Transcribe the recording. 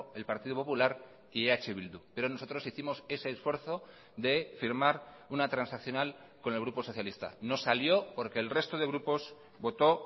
el partido popular y eh bildu pero nosotros hicimos ese esfuerzo de firmar una transaccional con el grupo socialista no salió porque el resto de grupos votó